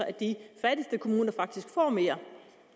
at de fattigste kommuner faktisk får mere